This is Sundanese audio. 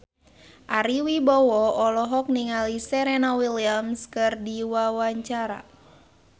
Ari Wibowo olohok ningali Serena Williams keur diwawancara